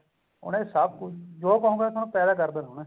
ਉਹਨੇ ਸਭ ਕੁੱਝ ਜੋ ਕਹੋਂਗੇ ਪੈਦਾ ਕਰ ਦੇਣਾ ਉਹਨੇ